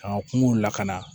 K'an ka kungow lakana